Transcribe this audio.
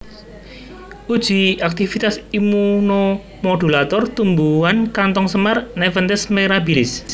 Uji aktivitas immunomodulator tumbuhan kantong semar Nepenthes mirablis